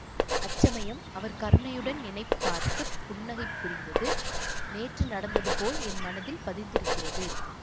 அச்சமயம் அவர் கருணையுடன் என்னை பார்த்து புன்னகை புரிந்தது நேற்று நடந்தது போல் என் மனத்தில் பதிந்திருக்கிறது